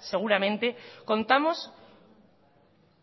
seguramente contamos